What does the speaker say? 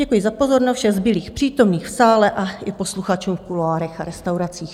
Děkuji za pozornost všem zbylým přítomným v sále a i posluchačům v kuloárech a restauracích.